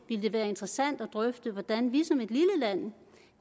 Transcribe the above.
ville det være interessant at drøfte hvordan vi som et lille land